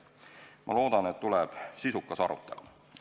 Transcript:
Ma loodan, et tuleb sisukas arutelu.